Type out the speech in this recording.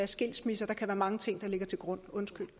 skilsmisser og mange ting der ligger til grund